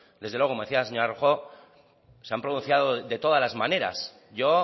desde luego como decía la señora rojo se han pronunciado de todas las maneras yo